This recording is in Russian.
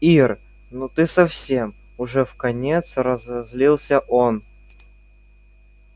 ир ну ты совсем уже вконец разозлился он